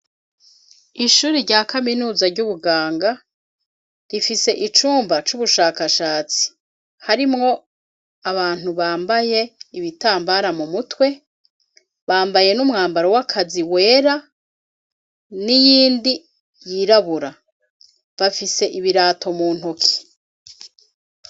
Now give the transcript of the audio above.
Ishure rya kaminuza ry'ubuganga, ifise icumba c'ubushakashatsi harimwo abantu bambaye ibitambara mu mutwe, bambaye n'umwambaro w'akazi wera niyindi yirabura, bafise ibirato mu ntoki.